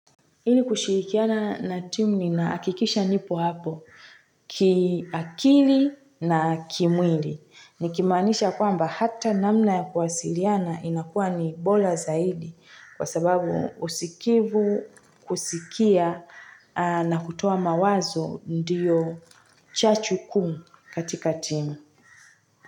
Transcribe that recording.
Hili kushurikiana na timu ninaakikisha nipo hapo kiakili na kimwili. Nikimaanisha kwamba hata namna ya kuwasiliana inakuwa ni bola zaidi kwa sababu usikivu kusikia na kutoa mawazo ndiyo chachu kuu katika timu.